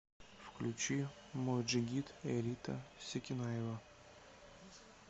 включи мой джигит элита секинаева